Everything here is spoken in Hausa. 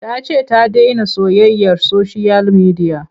Ta ce ta dena soyayyar soshiyal midiya.